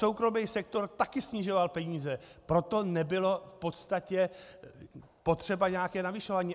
Soukromý sektor také snižoval peníze, proto nebylo v podstatě potřeba nějaké navyšování.